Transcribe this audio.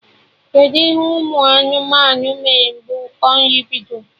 Kedụ ihe ụmụ anụmanụ mere mgbe ụkọ nri bidoro?